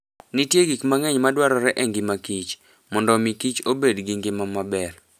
Nitie gik mang'eny madwarore e ngima kich, mondo omi kich obed gi ngima maber.